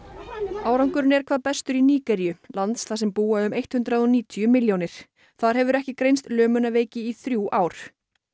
árangurinn er hvað bestur í Nígeríu landi þar sem búa um hundrað og níutíu milljónir þar hefur ekki greinst lömunarveiki í þrjú ár